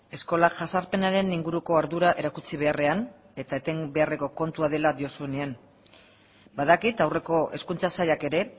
eskola jazarpenaren inguruko ardura erakutsi beharrean eta eten beharreko kontua dela diozunean badakit aurreko hezkuntza sailak ere